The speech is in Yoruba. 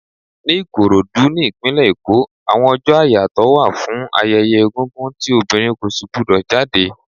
Ni Ìkòròdú, ní ìpínlè Èkó, àwọn ọjọ́ àyàtọ̀ wà fún ayẹyẹ egúngún tí obìnrin kò si gbu dò jáde.